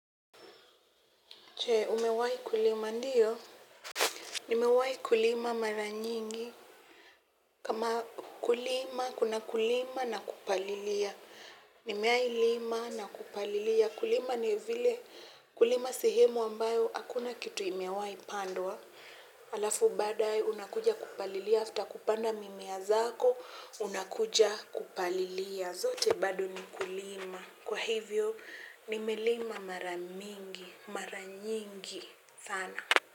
Je, umewahi kulima ndiyo? Nimewahi kulima mara nyingi. Kama kulima, kuna kulima na kupalilia. Nimehai lima na kupalilia kulima ni vile kulima sehemu ambayo hakuna kitu imewahi pandwa. Halafu baadae unakuja kupalilia after kupanda mimea zako, unakuja kupalilia. Zote bado ni ukulima. Kwa hivyo nimelima mara nyingi sana.